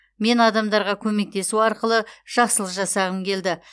мен адамдарға көмектесу арқылы жақсылық жасағым келді